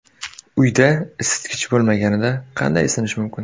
Uyda isitgich bo‘lmaganida qanday isinish mumkin?.